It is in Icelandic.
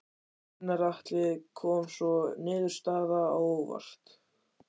Gunnar Atli Gunnarsson: Kom sú niðurstaða á óvart?